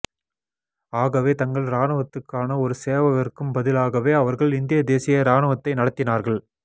ஆகவே தங்கள் ராணுவத்துக்கான ஒரு சேவகர்க்கும்பலாகவே அவர்கள் இந்திய தேசிய ராணுவம்த்தை நடத்தினார்கள்